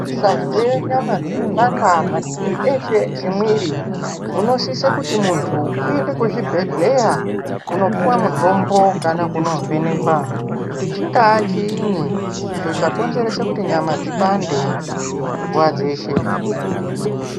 Ukazwe nyama dzeipanda mativi eshe emwiri unosise kuti muntu uende kuzvibhehleya kunopuwa mutombo kana kuvhenekwa kuti chinga chini icho chakonzerese kuti nyama dzipande nguwa dzeshe.